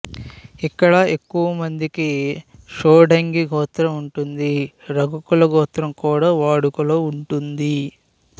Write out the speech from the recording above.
ఇక్కడ ఎక్కువ మందికి షోడంగి గోత్రం ఉంటుంది రఘుకుల గోత్రం కూడా వాడుకలో ఉంటుంది